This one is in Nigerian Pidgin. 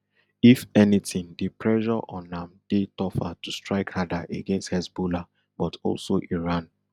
if anything di pressure on am dey tougher to strike harder against hezbollah but also iran